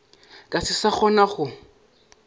ka se sa kgona go